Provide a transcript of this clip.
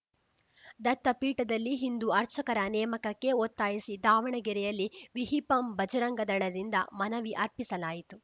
ದತ್ತ ಪೀಠದಲ್ಲಿ ಹಿಂದು ಅರ್ಚಕರ ನೇಮಕಕ್ಕೆ ಒತ್ತಾಯಿಸಿ ದಾವಣಗೆರೆಯಲ್ಲಿ ವಿಹಿಪಂ ಬಜರಂಗ ದಳದಿಂದ ಮನವಿ ಅರ್ಪಿಸಲಾಯಿತು